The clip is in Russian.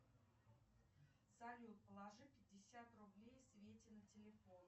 салют положи пятьдесят рублей свете на телефон